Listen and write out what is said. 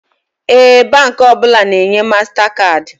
Ee, Baankị ọbụla na enye mastakaadị